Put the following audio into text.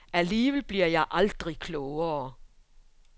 Alligevel bliver jeg aldrig klogere.